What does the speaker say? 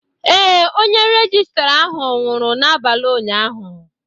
ee, onye rejistra ahụ nwụrụ n'abalị ụnyaahụ